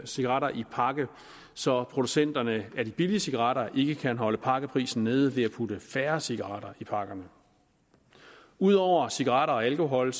cigaretter i en pakke så producenterne af de billige cigaretter ikke kan holde pakkeprisen nede ved at putte færre cigaretter i pakkerne ud over cigaretter og alkohol